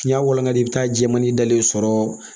N'i y'a walangali i bɛ taa jɛman in dalen sɔrɔ